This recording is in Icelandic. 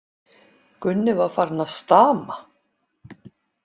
Gunni var farinn að stama.